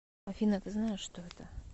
афина ты знаешь что это